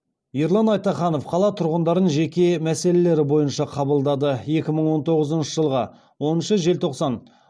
ерлан айтаханов қала тұрғындарын жеке мәселелері бойынша қабылдады екі мың он тоғызыншы жылғы оныншы желтоқсан